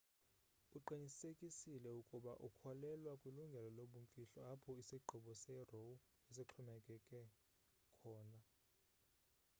uqinisekisile ukuba ukholelwa kwilungelo lobumfihlo apho isigqibo se-roe besixhomekeke khona